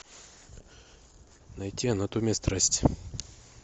найти анатомия страсти